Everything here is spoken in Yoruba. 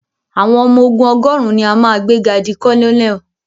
Àwọn ọmọ ogún ọgọ́rùn ni a máa gbé ga di colonel.